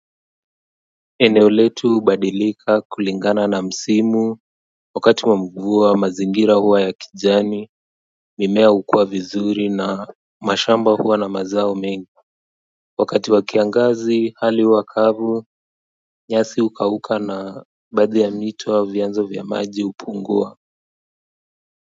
Eneo letu hubadilika kulingana na msimu wakati wa mvua mazingira huwa ya kijani mimea hukua vizuri na mashamba huwa na mazao mengi wakati wa kiangazi hali huwa kavu nyasi hukauka na baadhi ya mito au vyanzo vya maji hupungua.